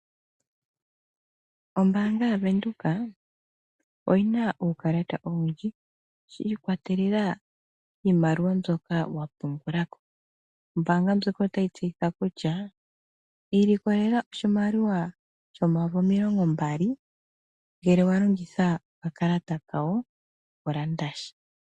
Ombaanga ya Venduka oyina uukalata owundji shiikwatelela mbyoka wa pungulako, ombaanga ndjoka otayi tseyitha kutya ilikolela oshimaliwa shomayovi omilongombali ngele wa longitha okakalata kayo oku landasha.